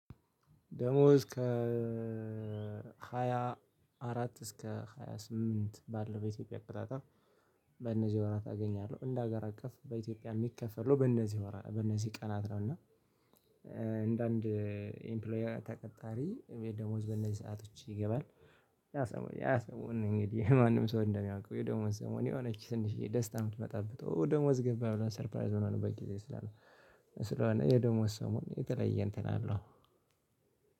ደሞዝ ከሃያ አራት እስከ ሃያ ስምንት ባለው በኢትዮጵያ አቆጣጠር። በነዚህ ወራት አገኛለሁ እንደ ሀገር አቀፍ በኢትዮጵያ የሚከፈለው በነዚህ ወራት በነዚህ ቀናት ነው እና ነው። እና አንዳንድ ኢምፕሎየር ተቀጣሪ ደሞዝ በእነዚህ ሰአቶች ይገባል። ያ ሰሞን ነው እንግዲህ ማንም ሰው እንደሚያውቀው የደሞዝ ሰሞን የሆነች ትንሽዬ ደስታ የምትመጣበት ደሞዝ ገባህ ብለን ሰርፕራይዝ ምንሆነበት ጊዜ ስላለው። ስለሆነ የደሞዝ ሰሞን የተለየ እንትን አለው።